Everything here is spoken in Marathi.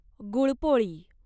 गुळपोळी